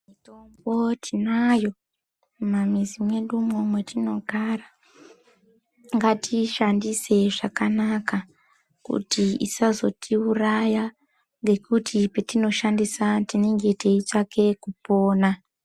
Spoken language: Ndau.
Tombo tinayo mumamizi mwedumwo mwatinogara ngatiishandisei zvakanaka kuti isazotiuraya ngekuti patinoshandisa tinenge teitsvake kupona.